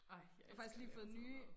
Ej jeg elsker at lave sådan noget mad